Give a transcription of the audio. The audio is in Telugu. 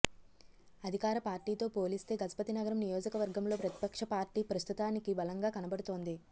అధికార పార్టీతో పోలిస్తే గజపతినగరం నియోజక వర్గంలో ప్రతిపక్ష పార్టీ ప్రస్తుతానికి బలంగా కనబడుతోంది